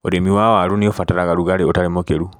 ũrĩmi wa waru nĩũbataraga rũgarĩ ũtari mũkĩru.